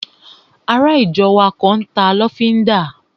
Ará ìjọ wa kan n ta lọ́fíndà